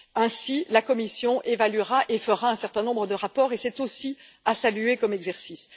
Ainsi, la Commission évaluera et fera un certain nombre de rapports et c'est aussi à saluer comme exercice.